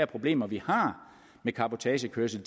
problemer vi har med cabotagekørsel